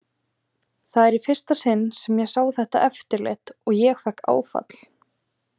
Það var í fyrsta sinn sem ég sá þetta eftirlit og ég fékk áfall.